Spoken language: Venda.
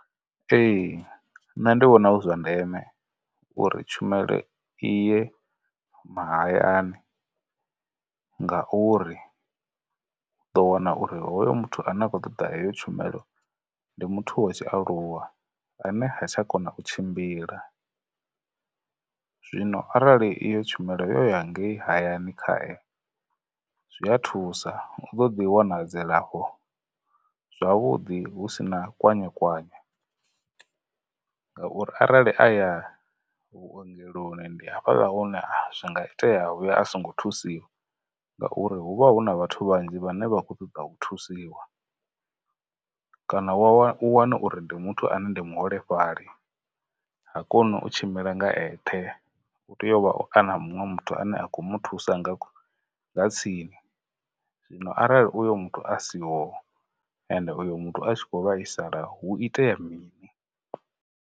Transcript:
Ee, nṋe ndi vhona hu zwa ndeme uri tshumelo i ye mahayani ngauri, u ḓo wana uri hoyo muthu ane a khou ṱoḓa heyo tshumelo ndi muthu wa tshi aluwa ane ha tsha kona u tshimbila. Zwino arali iyo tshumelo yo ya ngei hayani khae, zwi a thusa u ḓo ḓi wana dzilafho zwavhuḓi hu sina kwanyekwanye ngauri, arali a ya vhuongeloni, ndi hafhaḽa hune zwi nga itea vhuya a songo thusiwa ngauri hu vha hu na vhathu vhanzhi vhane vha khou ṱoḓa u thusiwa, kana wa wa u wane uri ndi muthu ane ndi muholefhali, ha koni u tshimbila nga eṱhe u tea u vha a na muṅwe muthu ane a kho mu thusa nga nga tsini, zwino arali uyo muthu a siho uyo muthu a tshi khou vhaisala hu itea mini?